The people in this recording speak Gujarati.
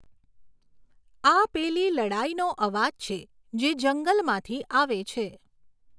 આ પેલી લડાઈનો અવાજ છે, જે જંગલમાંથી આવે છે.